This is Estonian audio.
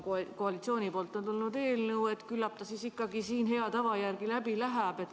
Kuna koalitsioonist on tulnud eelnõu, siis küllap ta ikkagi hea tava järgi läbi läheb.